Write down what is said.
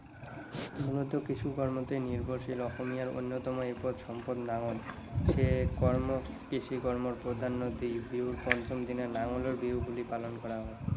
মূলত কিছু কাৰণতেই নিৰ্ভৰশীল অসমীয়াৰ অন্যতম এপদ সম্পদ নাঙল। সেয়ে কৰ্ম, কৃষি কৰ্মক প্ৰাধ্যান্য দি বিহুৰ পঞ্চম দিনা নাঙলৰ বিহু বুলি পালন কৰা হয়।